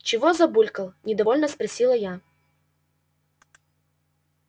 чего забулькал недовольно спросила я